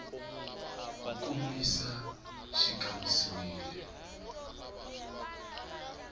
ku kombisa leswaku xi kambisisiwile